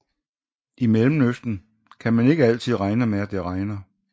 I Mellemøsten kan man ikke altid regne med at det regner